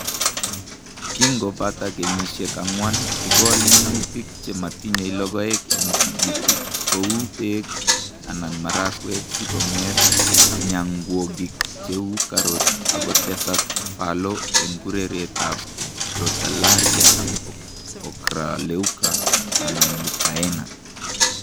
Kingo pata kenyiisyek ang'wan igol minutik che ma tinyei logoek eng' tigitik , ko uu peek anan marakwek si kong'et myanwogik che uu carrot ak ko tesak fallow eng' kurereetap Crotalaria ocroleuca anan Leucaena